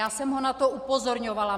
Já jsem ho na to upozorňovala.